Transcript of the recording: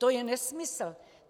To je nesmysl.